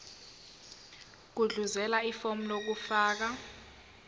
gudluzela ifomu lokufaka